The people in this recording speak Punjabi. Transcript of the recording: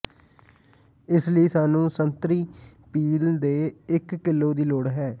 ਇਸ ਲਈ ਸਾਨੂੰ ਸੰਤਰੀ ਪੀਲ ਦੇ ਇੱਕ ਿਕਲੋ ਦੀ ਲੋੜ ਹੈ